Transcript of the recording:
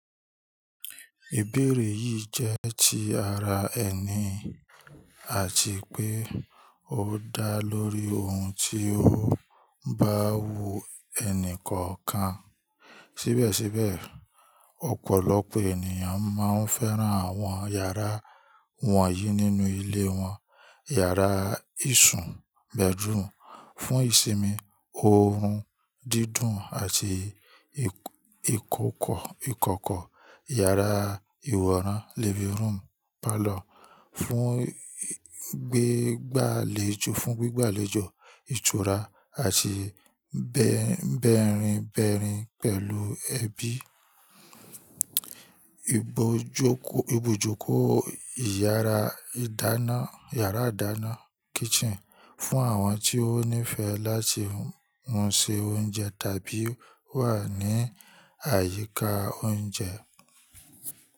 Ìbéèrè yìí jẹ́ ti ara ẹni àti pé ó dá lórí ohun tí ó ń bá wu ẹni kọ̀ọ̀kan. Síbẹ̀síbẹ̀, ọ̀pọ̀lọpọ̀ ènìyàn máa ń fẹ́ran àwọn yàrá wọ̀nyí nínú ilé wọn: yàrá ìṣùn bedroom fún ìsinmi, ọ̀run dídùn àti ìkọ́kọ́, yàrá ìwọ̀ran living room palout fún gbígbàlejò, ìtura àti bẹ̀rẹ̀nbẹ̀rìn pẹ̀lú ẹbí, ìbòjúkó iyara yàrá ìdáná kitchen fún àwọn tí ó nífẹ̀ẹ́ láti ma se oúnjẹ tàbí wà ní àyíká oúnjẹ.